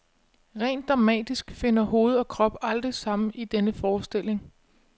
Rent dramatisk finder hoved og krop aldrig sammen i denne forestilling.